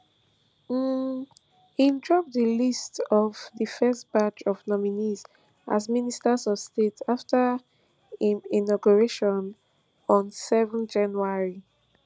um im drop di list of di first batch of nominees as ministers of state afta im inauguration on seven january